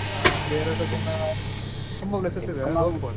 ಹಾ ಒಂದೆರ್ಡ್ ದಿನ ತುಂಬಾ places ಇದೆ ಹೋಗ್ಬಹುದು.